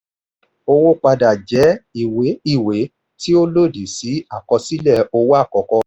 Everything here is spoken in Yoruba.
owó padà jẹ́ ìwé ìwé tí ó lòdì sí àkọsílẹ̀ owó àkọ́kọ́.